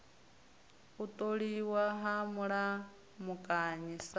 u tholiwa ha mulamukanyi sa